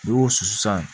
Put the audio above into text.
N'i y'o susu sisan